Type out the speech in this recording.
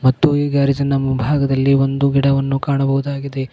ಮತ್ತು ಈ ಗ್ಯಾರೇಜ್ ನ ಮುಂಭಾಗದಲ್ಲಿ ಒಂದು ಗಿಡವನ್ನು ಕಾಣಬಹುದಾಗಿದೆ.